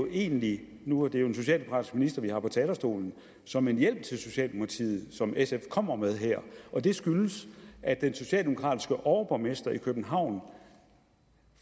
egentlig nu er det jo en socialdemokratisk minister vi har på talerstolen som en hjælp til socialdemokratiet som sf kommer med her og det skyldes at den socialdemokratiske overborgmester i københavn